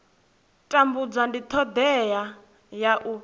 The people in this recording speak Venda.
tambudza ndi thodea ya u